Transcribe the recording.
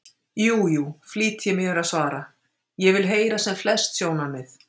Jú, jú, flýti ég mér að svara, ég vil heyra sem flest sjónarmið.